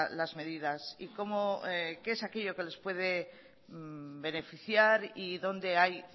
las medidas y cómo y qué es aquello que les puede beneficiar y dónde hay